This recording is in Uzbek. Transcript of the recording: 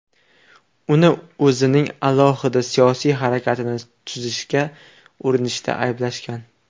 Uni o‘zining alohida siyosiy harakatini tuzishga urinishda ayblashgan.